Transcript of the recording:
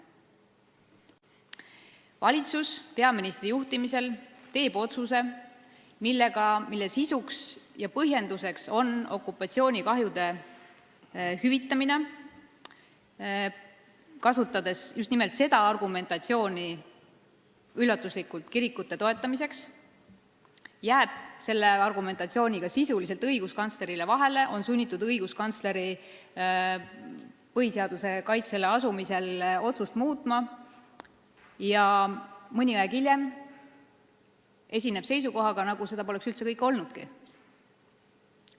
Valitsus peaministri juhtimisel teeb otsuse, mille sisuks ja põhjenduseks on okupatsioonikahjude hüvitamine, kasutades kirikute toetamisel üllatuslikult just nimelt seda argumentatsiooni, jääb selle argumentatsiooniga sisuliselt õiguskantslerile vahele, on sunnitud õiguskantsleri põhiseaduse kaitsele asumise tõttu otsust muutma ja esineb mõni aeg hiljem seisukohaga, nagu seda kõike poleks üldse olnudki.